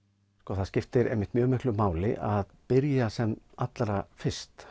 það skiptir einmitt mjög miklu máli að byrja sem allra fyrst